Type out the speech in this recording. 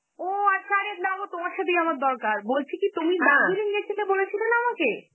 ও আচ্ছা, আরে নাগো তোমার সাথেই আমার দরকার, বলছি কি তুমি দার্জিলিং গেছিলে, বলেছিলে না আমাকে?